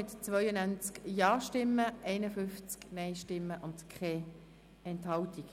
Sie haben die StG-Revision mit 92 Ja- zu 51 Nein-Stimmen und bei keiner Enthaltung